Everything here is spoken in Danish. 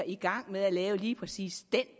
i gang med at lave lige præcis den